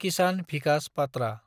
किसान Vikas पाट्रा